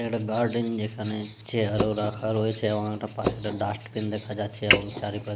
এটা একটা গার্ডেন যেখানে চেয়ার ও রাখা রয়েছে এবং একটা পাশে একটা ডাস্টবিন দেখা যাচ্ছে এবং চারিপাশে--